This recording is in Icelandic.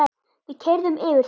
Við keyrðum yfir þá.